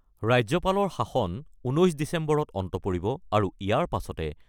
ৰাজ্যপালৰ শাসন ১৯ ডিচেম্বৰত অন্ত পৰিব আৰু ইয়াৰ পাছতে